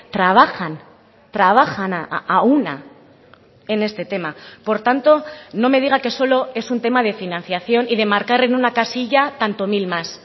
trabajan trabajan a una en este tema por tanto no me diga que solo es un tema de financiación y de marcar en una casilla tanto mil más